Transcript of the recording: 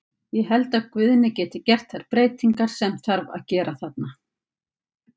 Ég held að Guðni geti gert þær breytingar sem þarf að gera þarna.